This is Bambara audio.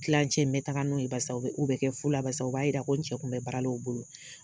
Tilan cɛ mɛ taga n'o ye barisa o bɛ kɛ fu la. Barisa o b'a yira ko n cɛ kun bɛ baara la u bolo.